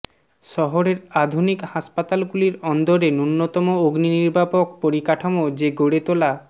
শহরের আধুনিক হাসপাতালগুলির অন্দরে নূন্যতম অগ্নিনির্বাপক পরিকাঠামো যে গড়ে তোলা